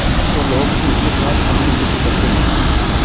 तो लोग उनके साथ सहानुभूति करते हैं